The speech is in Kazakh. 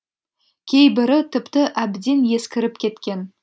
кейбірі тіпті әбден ескіріп кеткен